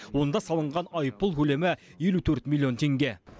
онда салынған айыппұл көлемі елу төрт миллион теңге